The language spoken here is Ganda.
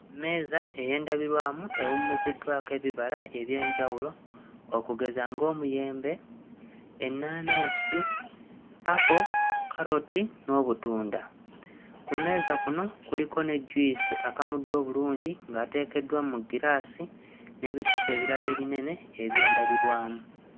Mmeeza ey'endabirwamu ewummuziddwako ebibala eby'enjawulo okugeza ng'omuyembe, ennaanansi, apo, kkaloti n'obutunda. Ku mmeeza kuno kuliko ne juyisi akamuddwa obulungi ng'ateekeddwa mu ggiraasi n'ebicupa ebirala ebinene eby'endabirwamu.